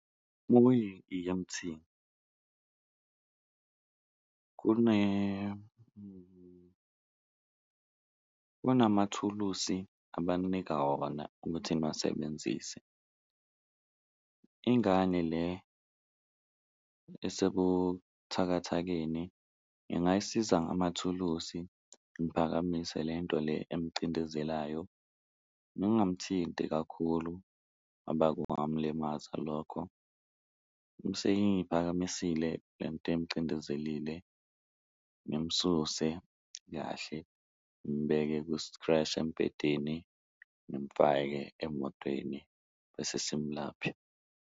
Uma uyi-E_M_T kunamathulusi abaninika wona ukuthi niwasebenzise, ingane le esebuthakathakeni ngingayisiza ngamathulusi ngiphakamise lento le emcindezelayo, ngingamthinti kakhulu ngoba kungamlimaza lokho. Bese ngiyiphakamisile lento emcindezelile ngimsuse kahle ngimubeke kustreshi embedeni, ngimfake emotweni bese simulaphe.